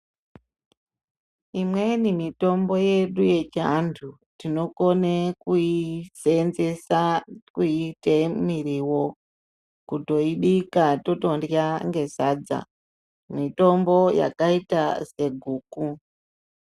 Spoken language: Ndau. Imweni mitombo yedu yechiantu tinokone kuisenzesa kuiite mirivo. Kutoibika totorya ngesadza mitombo yakaita seguku.